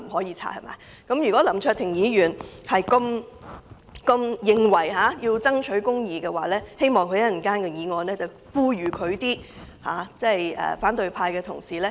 如果林卓廷議員認為要爭取公義，希望稍後他能夠呼籲反對派的同事不要阻止建議調查他的議案通過。